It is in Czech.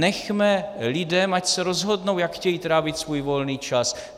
Nechme lidem, ať se rozhodnou, jak chtějí trávit svůj volný čas.